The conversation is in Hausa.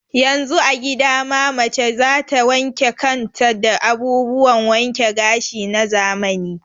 Yanzu a gida ma mace za ta wanke kan ta da abubuwan wanke gashi na zamani.